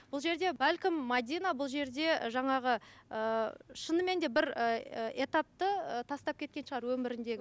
бұл жерде бәлкім мәдина бұл жерде жаңағы ыыы шынымен де бір ыыы этапты ы тастап кеткен шығар өміріндегі